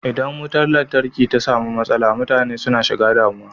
Idan mutar lantarki ta samu matsala mutane suna shiga damuwa.